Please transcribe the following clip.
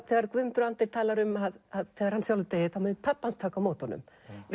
þegar Guðmundur Andri talar um að þegar hann sjálfur deyi muni pabbi hans taka á móti honum